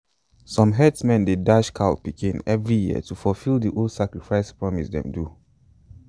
some herdsmen dey dash cow pikin every year to fulfill the old sacrifice promise them do.